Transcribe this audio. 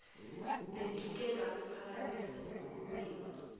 bengike ngakuphakamisa enkulumweni